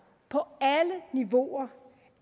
på alle niveauer